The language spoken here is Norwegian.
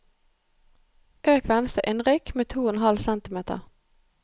Øk venstre innrykk med to og en halv centimeter